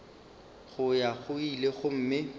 go ya go ile gomme